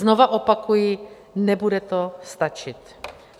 Znova opakuji, nebude to stačit.